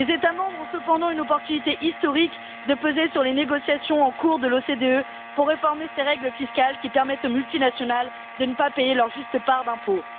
Les États membres ont cependant une opportunité historique de peser sur les négociations en cours à l'OCDE pour réformer ces règles fiscales qui permettent aux multinationales de ne pas payer leur juste part d'impôts.